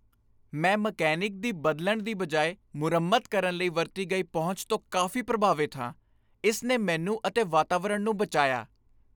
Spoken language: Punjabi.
ਮੈਂ ਮਕੈਨਿਕ ਦੀ ਬਦਲਣ ਦੀ ਬਜਾਏ ਮੁਰੰਮਤ ਕਰਨ ਲਈ ਵਰਤੀ ਗਈ ਪਹੁੰਚ ਤੋਂ ਕਾਫ਼ੀ ਪ੍ਰਭਾਵਿਤ ਹਾਂ, ਇਸ ਨੇ ਮੈਨੂੰ ਅਤੇ ਵਾਤਾਵਰਨ ਨੂੰ ਬਚਾਇਆ।